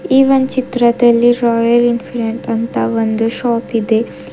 ಈ ಒನ್ ಚಿತ್ರದಲ್ಲಿ Royal Enfield ಅಂತ ಶಾಪ್ ಇದೆ.